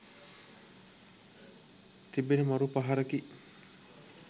තිබෙන මරු පහරකි.